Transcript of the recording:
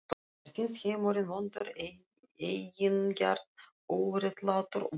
Mér finnst heimurinn vondur, eigingjarn, óréttlátur og blindur.